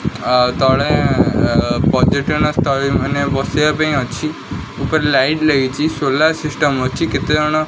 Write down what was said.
ଆ ତଳେ ପର୍ଯ୍ୟଟନ ସ୍ଥଳି ମାନେ ବସିବା ପାଇଁ ଅଛି ଉପରେ ଲାଇଟ୍ ଲାଗିଛି ସୋଲାର ସିଷ୍ଟମ୍ କେତେ ଜଣ।